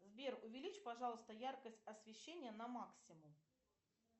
сбер увеличь пожалуйста яркость освещения на максимум